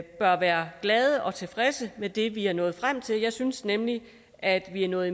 bør være glade og tilfredse med det vi er nået frem til jeg synes nemlig at vi er nået